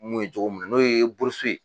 N'o ye jogo mun na n'oye e purusi